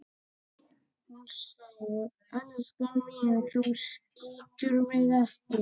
Hún segir: Elskan mín, þú skýtur mig ekki